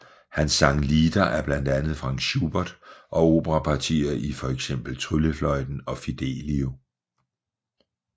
Han sang lieder af blandt andet Franz Schubert og operapartier i for eksempel Tryllefløjten og Fidelio